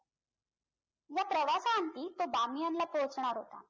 व प्रवासांती तो बामियन ला पोहोचणार होता